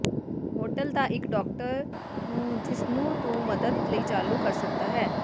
hotel ਦਾ ਇੱਕ doctor ਨੂੰ ਜਿਸ ਨੂੰ ਤੂੰ ਮਦਦ ਲਈ ਚਾਲੂ ਕਰ ਸਕਦਾ ਹੈ